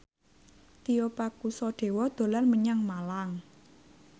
Tio Pakusadewo dolan menyang Malang